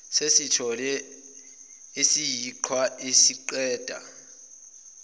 sesithelo esiyiqhwa isiqeda